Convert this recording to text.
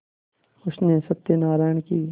उसने सत्यनाराण की